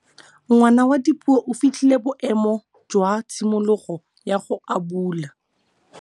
Ngwana wa Dipuo o fitlhile boêmô jwa tshimologô ya go abula.